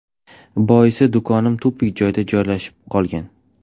Boisi, do‘konim tupik joyda joylashib qolgan.